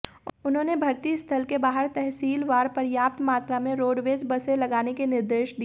उन्होंने भर्ती स्थल के बाहर तहसीलवार पर्याप्त मात्रा में रोडवेज बसें लगाने के निर्देश दिए